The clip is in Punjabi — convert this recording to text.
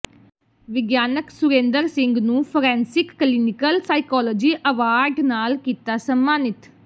ਵਿਗਿਆਨਕ ਸੁਰੇਂਦਰ ਸਿੰਘ ਨੂੰ ਫੋਰੈਂਸਿਕ ਕਲੀਨਿਕਲ ਸਾਈਕਾਲੋਜੀ ਅਵਾਰਡ ਨਾਲ ਕੀਤਾ ਸਮਾਨਿਤ